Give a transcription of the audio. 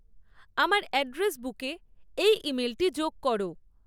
আমার অ্যাড্রেস বুকে এই ইমেলটি যোগ করো